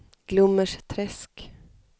Glommersträsk